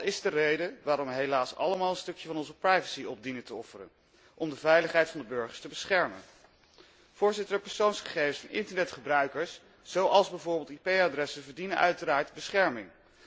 Dat is de reden waarom we helaas allemaal een stukje van onze privacy dienen op te offeren, om de veiligheid van de burger te beschermen. De persoonsgegevens van internetgebruikers, zoals bijvoorbeeld IP adressen, verdienen uiteraard bescherming.